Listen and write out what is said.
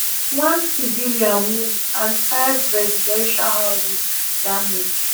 one civilian wound and five residential houses damage